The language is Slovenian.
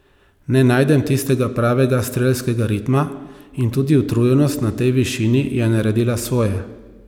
Ne najdem tistega pravega strelskega ritma in tudi utrujenost na tej višini je naredila svoje.